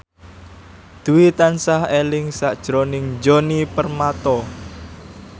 Dwi tansah eling sakjroning Djoni Permato